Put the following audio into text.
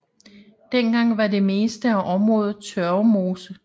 Dengang var det meste af området tørvemose